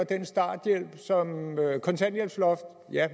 kontanthjælpsloftet og